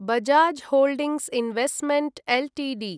Bajaj holdings investment Ltd